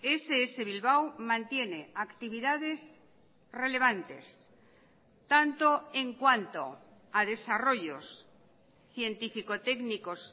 ess bilbao mantiene actividades relevantes tanto en cuanto a desarrollos científico técnicos